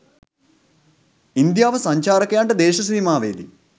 ඉන්දියාව සංචාරකයන්ට දේශ සීමාවේ දී